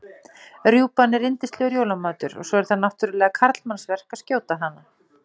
Rjúpan er yndislegur jólamatur og svo er það náttúrlega karlmannsverk að skjóta hana.